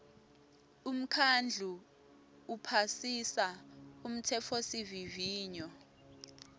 umkhandlu uphasisa umtsetfosivivinyo